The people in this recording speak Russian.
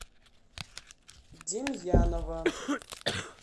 демьянова